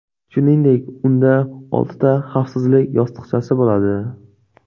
Shuningdek, unda oltita xavfsizlik yostiqchasi bo‘ladi.